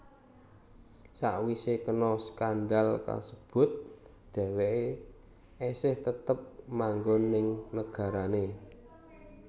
Sawisé kena skandal kasebut dheweké esih tetep manggon ning nagarané